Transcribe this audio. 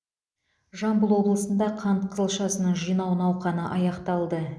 жамбыл облысында қант қызылшасын жинау науқаны аяқталды